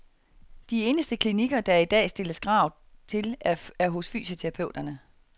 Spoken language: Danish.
De eneste klinikker, der i dag stilles krav til, er hos fysioterapeuterne.